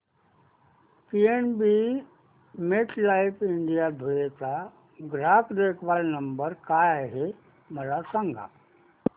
PNB MetLife India Dhule चा ग्राहक देखभाल नंबर काय आहे मला सांगा